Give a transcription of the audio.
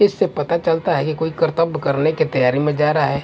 इससे पता चलता है कि कोई कर्तब करने की तैयारी में जा रहा है।